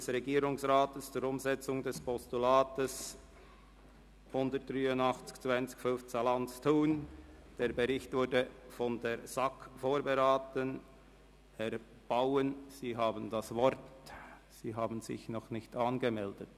Der Regierungsrat berichtet in seinem Vortrag zu den jeweiligen Vorlagen unter dem Kapitel «Regulierungsfolgenabschätzung/Auswirkungen auf die Volkswirtschaft» über das Ergebnis der Checkliste oder begründet die Nichtanwendung der Checkliste auf einfache und einheitliche Weise.